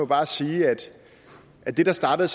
bare sige at det der startede